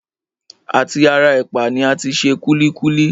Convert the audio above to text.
À ti ara ẹ̀pà ni a ti se kúlíkúlí